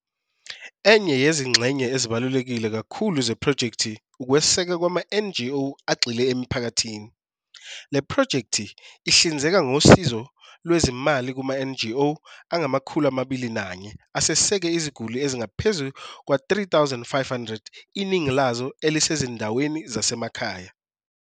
Enye yezingxenye ezibaluleke kakhulu zephrojekthi ukwesekwa kwama-NGO agxile emiphakathini. Le phrojekthi ihlinzeka ngosizo lwezimali kuma-NGO angama-21 aseseke iziguli ezingaphezu kwezi-3500, iningi lazo elisezindaweni zasemakhaya.